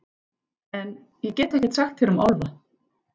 En- ég get ekkert sagt þér um álfa.